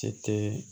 Cɛ tɛ